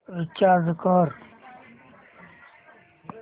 recharge कर